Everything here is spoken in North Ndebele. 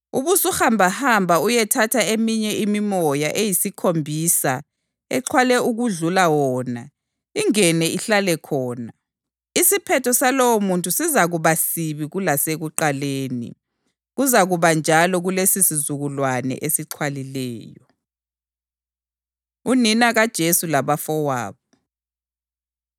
Ubusuhamba uyethatha eminye imimoya eyisikhombisa exhwale okudlula wona, ingene ihlale khona. Isiphetho salowomuntu sizakuba sibi kulasekuqaleni. Kuzakuba njalo kulesisizukulwane esixhwalileyo.” Unina KaJesu Labafowabo